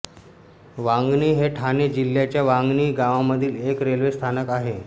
वांगणी हे ठाणे जिल्ह्याच्या वांगणी गावामधील एक रेल्वे स्थानक आहे